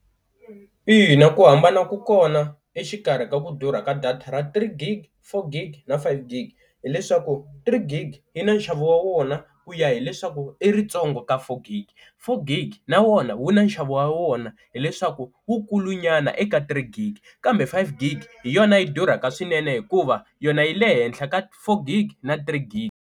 Ina ku hambana ku kona exikarhi ka ku durha ka data ra three gig, four gig na five gig hileswaku three gig yi na nxavo wa wona ku ya hileswaku i ritsongo ka four gig, four gig na wona wu na nxavo wa wona hileswaku wu kulu nyana eka three gig, kambe five gig hi yona yi durhaka swinene hikuva yona yi le henhla ka four gig na three gig.